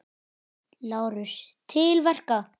LÁRUS: Til verka!